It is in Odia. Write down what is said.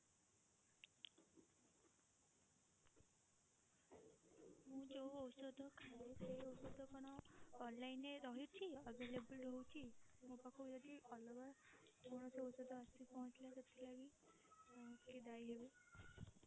ମୁଁ ଯୋଉ ଔଷଧ ଖାଏ ସେଇ ଔଷଧ କଣ online ରେ ରହିଛି available ରହୁଛି ମୋ ପାଖକୁ ଯଦି ଅଲଗା କୌଣସି ଔଷଧ ଆସିକି ପହଞ୍ଚିଲା ତ ସେଥିଲାଗି କିଏ ଦାୟୀ ହେବେ?